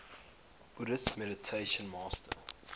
buddhist meditation master